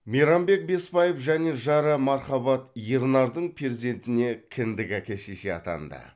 мейрамбек беспаев және жары мархабат ернардың перзентіне кіндік әке шеше атанды